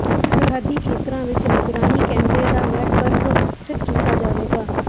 ਸਰਹੱਦੀ ਖੇਤਰਾਂ ਵਿਚ ਨਿਗਰਾਨੀ ਕੈਮਰੇ ਦਾ ਨੈਟਵਰਕ ਵਿਕਸਿਤ ਕੀਤਾ ਜਾਵੇਗਾ